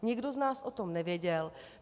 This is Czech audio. Nikdo z nás o tom nevěděl.